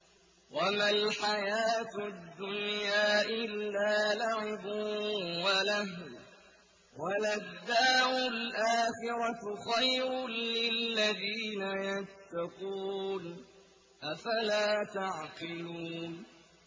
وَمَا الْحَيَاةُ الدُّنْيَا إِلَّا لَعِبٌ وَلَهْوٌ ۖ وَلَلدَّارُ الْآخِرَةُ خَيْرٌ لِّلَّذِينَ يَتَّقُونَ ۗ أَفَلَا تَعْقِلُونَ